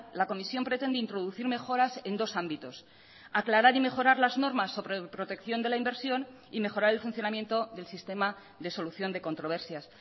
la comisión pretende introducir mejoras en dos ámbitos aclarar y mejorar las normas sobre protección de la inversión y mejorar el funcionamiento del sistema de solución de controversias